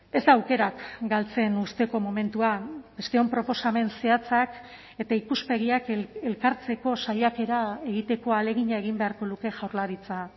ez da aukerak galtzen uzteko momentua besteon proposamen zehatzak eta ikuspegiak elkartzeko saiakera egiteko ahalegina egin beharko luke jaurlaritza